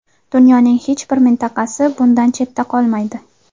Dunyoning hech bir mintaqasi bundan chetda qolmaydi.